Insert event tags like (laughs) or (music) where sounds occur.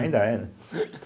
Ainda é, né? (laughs)